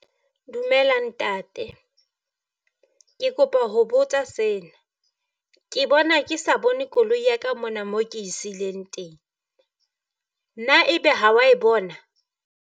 Dumela ntate, ke kopa ho botsa sena. Ke bona ke sa bone koloi ya ka mona mo ke e siileng teng. Na ebe ha wa e bona?